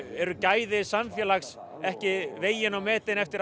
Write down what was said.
eru gæði samfélags ekki metin eftir